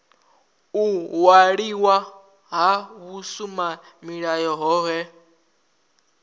u waliwa ha vhusimamilayo hohe